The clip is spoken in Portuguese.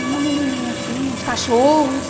E uma menininha, assim, uns cachorros.